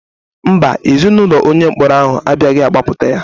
Mba, Ezinaụlọ onye mkpọrọ ahụ abịaghị gbapụta ya.